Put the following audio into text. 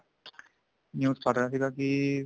news ਪੜ੍ਹ ਰਿਹਾ ਸੀਗਾ ਕੀ